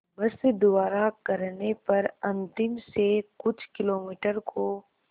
बस द्वारा करने पर अंतिम से कुछ किलोमीटर को